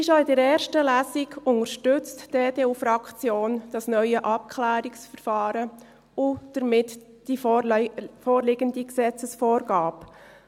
Wie schon in der ersten Lesung, unterstützt die EDU-Fraktion das neue Abklärungsverfahren und damit die vorliegende Gesetzesvorgabe.